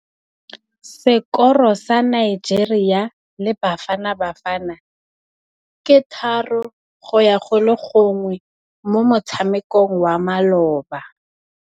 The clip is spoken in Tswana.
Sekôrô sa Nigeria le Bafanabafana ke 3-1 mo motshamekong wa malôba.